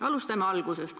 Alustame algusest.